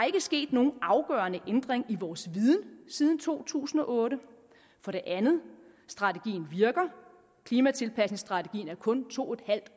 ikke sket nogen afgørende ændring i vores viden siden to tusind og otte for det andet strategien virker klimatilpasningsstrategien er kun to en halv